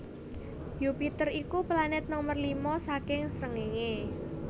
Yupiter iku planet nomer lima saking srengéngé